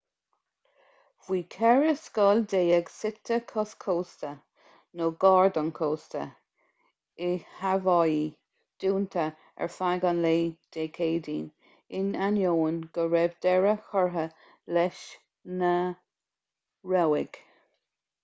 bhí ceithre scoil déag suite cois cósta nó gar don chósta i haváí dúnta ar feadh an lae dé céadaoin in ainneoin go raibh deireadh curtha leis na rabhaidh